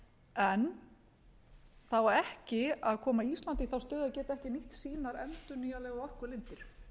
en það á ekki að koma íslandi í þá stöðu að geta ekki nýtt sínar endurnýjanlegu orkulindir